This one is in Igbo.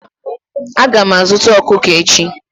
Aga m azuta ọkụkọ echi.